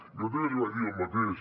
jo també li vaig dir el mateix